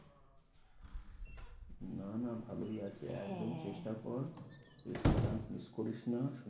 না না ভালোই আছে, একদম চেষ্টা কর। এইসব chance মিস করিস না।